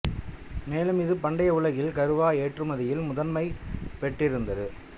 மேலும் இது பண்டைய உலகில் கறுவா ஏற்றுமதியில் முதன்மை பெற்றிருந்தது